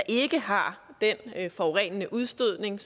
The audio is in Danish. ikke har den forurenende udstødning